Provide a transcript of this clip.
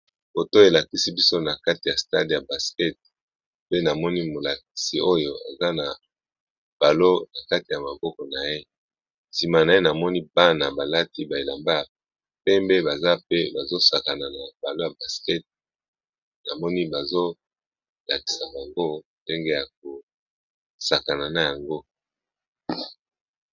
Kotoyo elakisi biso na kati ya stade ya basket, pe namoni molakisi oyo aza na balon na kati ya maboko na ye, sima na ye namoni bana balati ba elamba ya pembe baza pe bazo sakana na balon ya baskete namoni bazo lakisa bango ndenge yako sakana na yango.